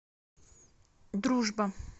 дружба